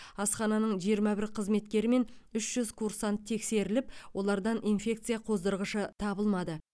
асхананың жиырма бір қызметкері мен үш жүз курсант тексеріліп олардан инфекция қоздырғышы табылмады